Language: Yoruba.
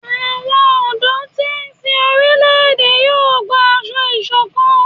Awọn ọdọ ti n sín orilẹ-ède yóò gbà aṣọ ìṣọ̀kan